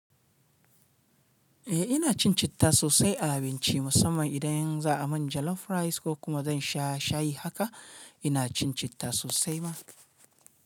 Eh ina cin citta sosai a abinci musamman idan za a min jollof rice ko kuma zan sha shayi haka ina cin citta sosai ma.